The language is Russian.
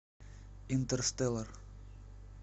интерстеллар